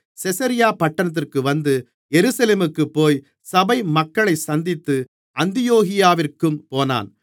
செசரியா பட்டணத்திற்கு வந்து எருசலேமுக்குப்போய் சபைமக்களைச் சந்தித்து அந்தியோகியாவிற்குப் போனான்